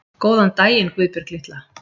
Góðan daginn, Guðbjörg litla